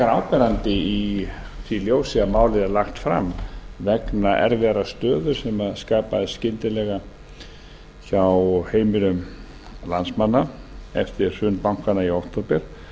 áberandi í því ljósi að málið er lagt fram vegna erfiðrar stöðu sem skapaðist skyndilega hjá heimilum landsmanna eftir hrun bankanna í október